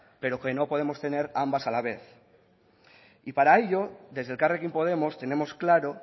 pero que no podemos tener ambas a la vez y para ello desde elkarrekin podemos tenemos claro